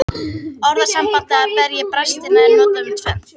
Orðasambandið að berja í brestina er notað um tvennt.